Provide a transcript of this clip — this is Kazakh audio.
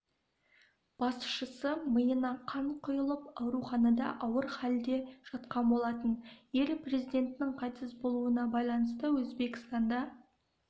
басшысы миына қан құйылып ауруханада ауыр халде жатқан болатын ел президентінің қайтыс болуына байланысты өзбекстанда